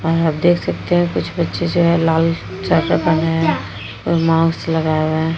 हाँ आप देख सकते हैं। कुछ बच्चे लाल स्वेटर पहने हैं। माउस लगाये हुए हैं।